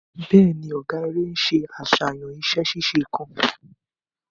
Bẹẹni, ọgá eré nṣe àṣàyàn iṣẹ ṣíṣe kan